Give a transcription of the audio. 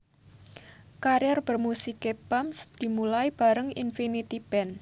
Karir bermusiké Bams dimulai bareng Infinity Band